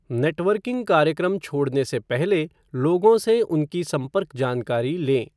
Networking कार्यक्रम छोड़ने से पहले लोगों से उनकी संपर्क जानकारी लें।